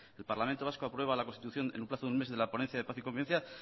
el parlamento vasco aprueba la constitución en una plazo de un mes de la ponencia de paz y convivencia